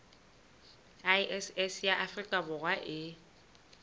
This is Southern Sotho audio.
iss ya afrika borwa e